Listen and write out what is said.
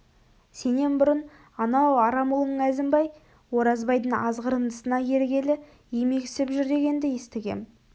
сенен бұрын анау арам ұлың әзімбай оразбайдың азғырындысына ергелі емексіп жүр дегенді естігем